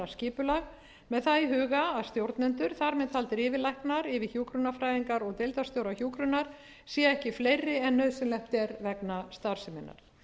skipulag með það í huga að stjórnendur þar með taldir yfirlæknar yfirhjúkrunarfræðingar og deildarstjórar hjúkrunar séu ekki fleiri en nauðsynlegt er vegna starfseminnar